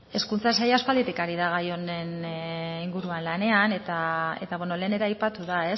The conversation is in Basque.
hezkuntza saila aspalditik ari da gai honen inguruan lanean eta lehen ere aipatu da